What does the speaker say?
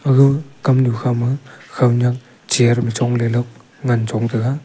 aga kamnu kha ma khawnyak chair ma chongle la ngan chong taga.